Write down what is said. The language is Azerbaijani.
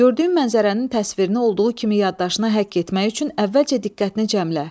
Gördüyün mənzərənin təsvirini olduğu kimi yaddaşına həkk etmək üçün əvvəlcə diqqətini cəmlə.